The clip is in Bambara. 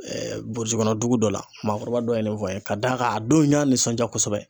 burusi kɔnɔ dugu dɔ la maakɔrɔba dɔ ye ne fɔ an ye ka da kan a don n y'a nisɔndiya kosɛbɛ